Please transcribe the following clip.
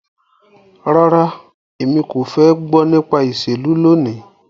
Rara, Emi ko fẹ gbọ nipa iṣelu loni